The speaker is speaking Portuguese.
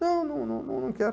Não, não não não quero.